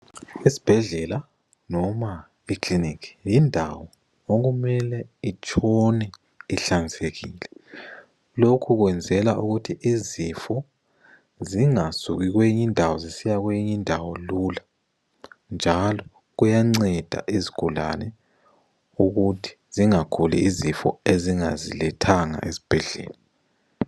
Esibhedlela noma ekiliniki yindawo okumele itshone ihlanzekile. Lokho kwenzelwa ukuthi izifo zingasuki kwezinye indawo zisiya kweyinye indawo lula. Njalo kuyanceda izigulane ukuthi zingaguli izifo ezingazilethanga esibhedlela.